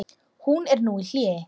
Hún er nú í hléi.